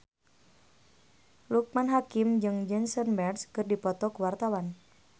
Loekman Hakim jeung Jason Mraz keur dipoto ku wartawan